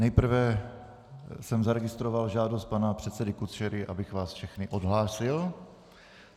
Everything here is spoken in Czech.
Nejprve jsem zaregistroval žádost pana předsedy Kučery, abych vás všechny odhlásil.